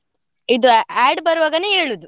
ಇದು add ಬರ್ವಾಗನೇ ಏಳುದು.